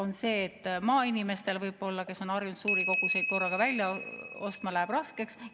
Nimelt, maainimestel , kes on harjunud suuri koguseid korraga välja ostma, läheb ehk raskeks.